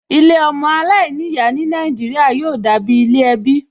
Ilé ọmọ aláìníyàá ní Nàìjíríà yóò dàbí ilé ẹbí